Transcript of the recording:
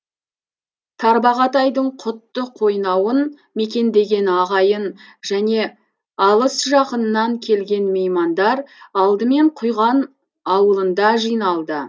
тарбағатайдың құтты қойнауын мекендеген ағайын және алыс жақыннан келген меймандар алдымен құйған ауылында жиналды